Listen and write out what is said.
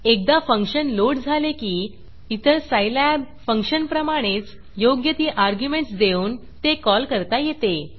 एकदा function load झाले की इतर सायलॅब फंक्शनप्रमाणेच योग्य ती अर्ग्युमेंटस देऊन ते कॉल करता येते